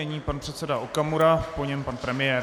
Nyní pan předseda Okamura, po něm pan premiér.